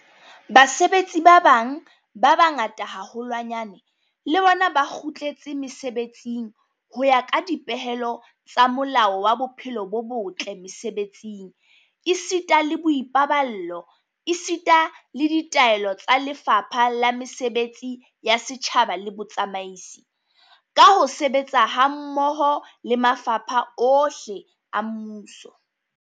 Basebetsi ba bang ba bangata haholwanyane le bona ba kgutletse mesebetsing ho ya ka dipehelo tsa Molao wa Bophelo bo botle Mese-betsing esita le Boipaballo esita le ditaelo tsa Lefapha la Mesebetsi ya Setjhaba le Botsamaisi, ka ho sebetsa hammoho le mafapha ohle a mmuso.